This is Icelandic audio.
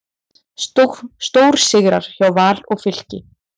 Stórsigrar hjá Val og Fylki